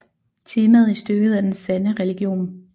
Temaet i stykket er den sande religion